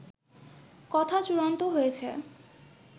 কথা চূড়ান্ত হয়েছে